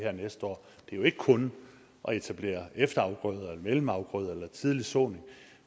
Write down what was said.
her næste år det er jo ikke kun at etablere efterafgrøder eller mellemafgrøder eller tidlig såning